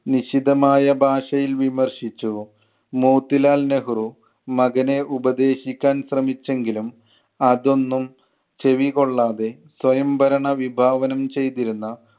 നിഷിദ്ധമായ ഭാഷയിൽ വിമർശിച്ചു. മോത്തിലാൽ നെഹ്‌റു മകനെ ഉപദേശിക്കാൻ ശ്രെമിച്ചെങ്കിലും അതൊന്നും ചെവികൊള്ളാതെ സ്വയംഭരണ വിഭാവനം ചെയ്‌തിരുന്ന